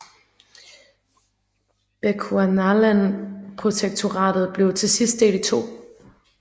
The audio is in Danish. Bechuanaland Protektoratet blev til sidst delt i to